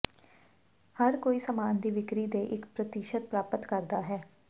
ਹਰ ਕੋਈ ਸਾਮਾਨ ਦੀ ਵਿਕਰੀ ਦੇ ਇੱਕ ਪ੍ਰਤੀਸ਼ਤ ਪ੍ਰਾਪਤ ਕਰਦਾ ਹੈ